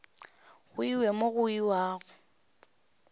go iwe mo go iwago